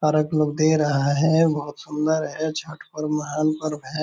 Park लोग दे रहा है बहुत सुंदर है छठ पर्व महान पर्व है।